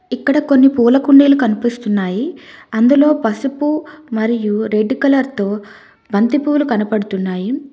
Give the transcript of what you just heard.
ఇక్కడ కొన్ని పూల కుండీలు కనిపిస్తున్నాయి అందులో పసుపు మరియు రెడ్ కలర్ తో బంతిపూలు కనబడుతున్నాయి.